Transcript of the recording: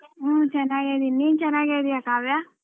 ಹ್ಮ್ ಚೆನ್ನಾಗಿದೀನಿ ನೀನ್ ಚೆನ್ನಾಗಿದೀಯಾ ಕಾವ್ಯ?